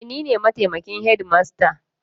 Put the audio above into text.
E, ni ne mataimakin shedimasta.